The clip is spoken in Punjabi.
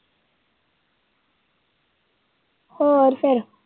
ਹੋਰ ਫੇਰ।